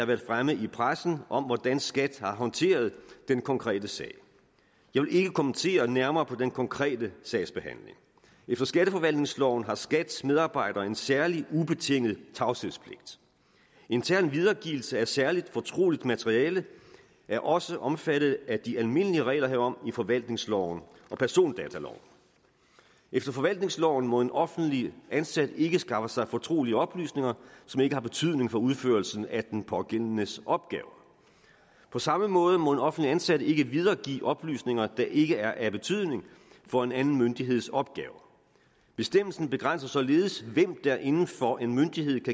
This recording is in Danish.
været fremme i pressen om hvordan skat har håndteret den konkrete sag jeg vil ikke kommentere nærmere på den konkrete sagsbehandling efter skatteforvaltningsloven har skats medarbejdere en særlig ubetinget tavshedspligt intern videregivelse af særligt fortroligt internt materiale er også omfattet af de almindelige regler herom i forvaltningsloven og persondataloven efter forvaltningsloven må en offentligt ansat ikke skaffe sig fortrolige oplysninger som ikke har betydning for udførelsen af den pågældendes opgaver på samme måde må en offentligt ansat ikke videregive oplysninger der ikke er af betydning for en anden myndigheds opgaver bestemmelsen begrænser således hvem der inden for en myndighed